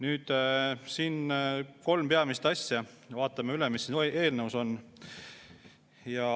Nüüd, vaatame üle kolm peamist asja, mis siin eelnõus on.